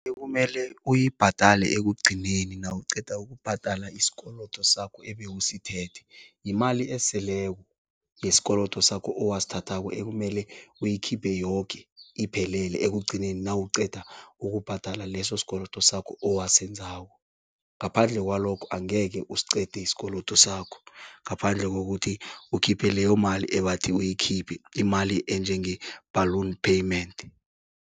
Ekumele uyibhadale ekugcineni, nawuqeda ukubhadala iskolodo sakho ebewusithethe. Yimali eseleko, ngeskolodo sakho owasithathako, ekumele uyikhiphe yoke iphelela ekugcineni, nawuqeda ukubhadala leso skolodo sakho owasenzako. Ngaphandle kwalokho, angeke usqede iskolodo sakho. Ngaphandle kokuthi, ukhiphe leyo mali ebathi uyikhiphe, imali enjenge-balloon payment.